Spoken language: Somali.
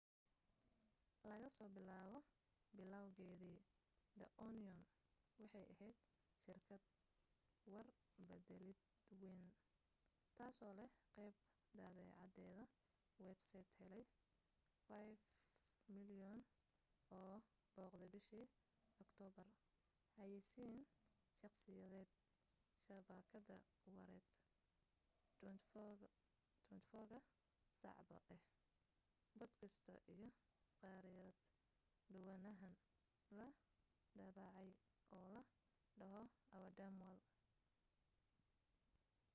laga soo bilaabo bilowgeedii the onion waxay ahayd shirkad war beddeleed wayn taasoo leh qayb daabacadeed websayt helay 5,000,000 oo booqde bishii aktoobar xayaysiin shakhsiyeed shabakad wareed 24 ka saacba ah boodkaasti iyo khariirad dhowaanahan la daabacay oo la dhaho our dumb world